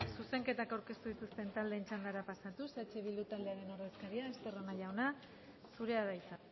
zuzenketak aurkeztu dituzten taldeen txandara pasatuz eh bildu taldearen ordezkaria estarrona jauna zurea da hitza